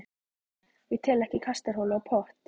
Ég tel ekki kastarholu og pott.